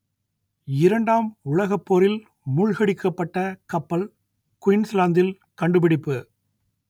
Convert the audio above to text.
இரண்டாம் உலகப் போரில் மூழ்கடிக்கப்பட்ட கப்பல் குயின்ஸ்லாந்தில் கண்டுபிடிப்பு